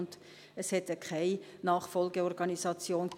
Es gibt keine Nachfolgeorganisation.